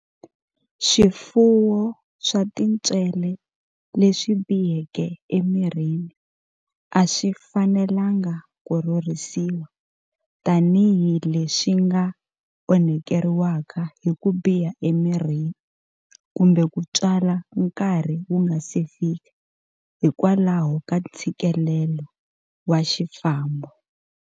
Swifuwo swa tintswele leswi biheke emirini a swi fanelangi ku rhurhisiwa tanihi leswi nga onhakeriwaka hi ku biha emirini kumbe ku tswala nkarhi wu nga si fika hikwalaho ka ntshikilelo wa xifambo.